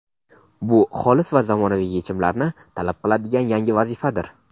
Bu xolis va zamonaviy yechimlarni talab qiladigan yangi vazifadir.